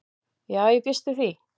Já ég býst við því.